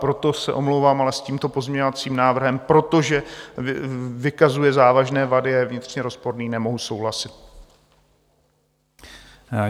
Proto se omlouvám, ale s tímto pozměňovacím návrhem, protože vykazuje závažné vady a je vnitřně rozporný, nemohu souhlasit.